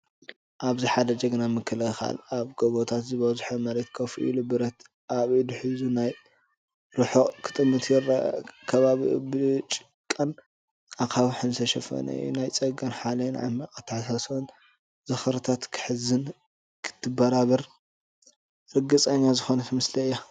ኣብዚ ሓደ ጅግና ምክልኻል ኣብ ጎቦታት ዝበዝሖ መሬት ኮፍ ኢሉ፡ ብረት ኣብ ኢዱ ሒዙ፡ ናብ ርሑቕ ክጥምት ይርአ። ከባቢኡ ብጭቃን ኣኻውሕን ዝተሸፈነ እዩ። ናይ ጸጋን ሓይልን ዓሚቕ ኣተሓሳስባን ዝኽሪታት ክትሕዝን ከተበራብርን ርግጸኛ ዝኾነት ምስሊ አያ።